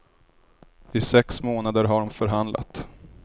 I sex månader har hon förhandlat.